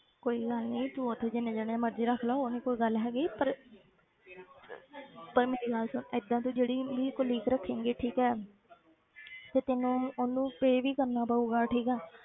ਕੋਈ ਗੱਲ ਨੀ ਤੂੰ ਉੱਥੇ ਜਿੰਨੇ ਜਾਣੇ ਮਰਜ਼ੀ ਰੱਖ ਲਾ ਉਹ ਨੀ ਕੋਈ ਗੱਲ ਹੈਗੀ ਪਰ ਪਰ ਮੇਰੀ ਗੱਲ ਸੁਣ ਏਦਾਂ ਤੂੰ ਜਿਹੜੀ colleague ਰੱਖੇਂਗੀ ਠੀਕ ਹੈ ਫਿਰ ਤੈਨੂੰ ਉਹਨੂੰ pay ਵੀ ਕਰਨਾ ਪਊਗਾ ਠੀਕ ਹੈ,